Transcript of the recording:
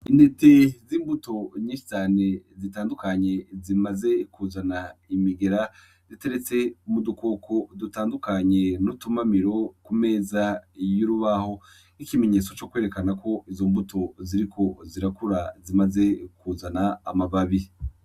Intete z'imbuto nyeshcane zitandukanye zimaze kuzana imigera ziteretse umu dukoko dutandukanye n'utumamiro ku meza y'urubaho nk'ikimenyetso co kwerekana ko izo mbuto ziriko zirakura zimaze kuzana amababi.